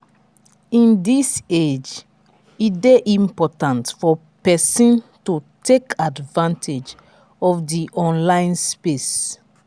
in this age e de important for persin to take advantage of di online space